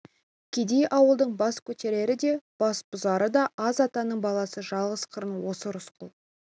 кедей ауылдың бас көтерері де басбұзары да аз атаның баласы жалғыз қыран осы рысқұл